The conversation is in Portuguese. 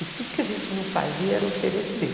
E tudo que a gente não fazia era oferecer.